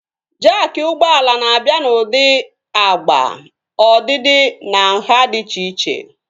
Jaakị ụgbọala na-abịa n'ụdị agba, ọdịdị na nhá dị iche iche